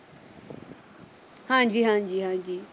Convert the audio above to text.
ਹਾਂਜੀ ਹਾਂਜੀ ਹਾਂਜੀ।